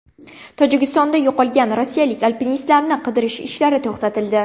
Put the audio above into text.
Tojikistonda yo‘qolgan rossiyalik alpinistlarni qidirish ishlari to‘xtatildi.